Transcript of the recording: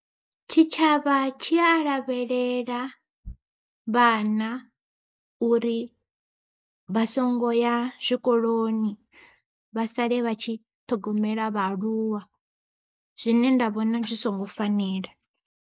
Tshitshavha tshi a lavhelela vhana, uri vha songo ya zwikoloni vha sale vha tshi ṱhogomela vhaaluwa. Zwine nda vhona zwi songo fanela.